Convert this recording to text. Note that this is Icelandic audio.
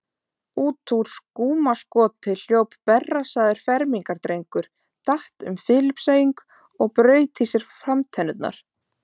Út úr skúmaskoti hljóp berrassaður fermingardrengur, datt um Filippseying og braut í sér framtennurnar.